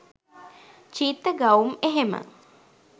චීත්ත ගවුම් එහෙම.